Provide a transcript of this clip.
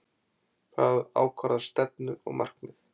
Það ákvarðar stefnu og markmið.